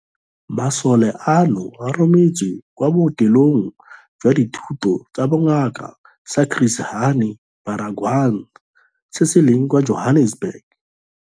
Masole ano a rometswe kwa Bookelong jwa Dithuto tsa Bongaka sa Chris Hani Baragwanath se se leng kwa Johannesburg.